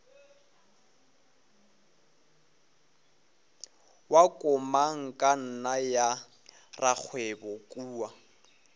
wa komangkanna ya rakgwebo kua